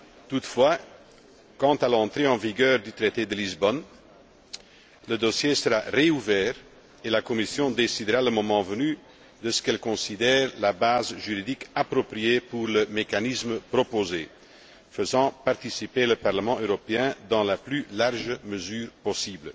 Toutefois, à l'entrée en vigueur du traité de Lisbonne, le dossier sera rouvert et la Commission décidera, le moment venu, de ce qu'elle considère la base juridique appropriée pour le mécanisme proposé, faisant participer le Parlement européen dans la plus large mesure possible.